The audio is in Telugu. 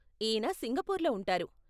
ఈయన సింగపూర్లో ఉంటారు.